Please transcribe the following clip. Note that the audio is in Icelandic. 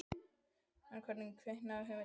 En hvernig kviknaði hugmyndin að hátíðinni?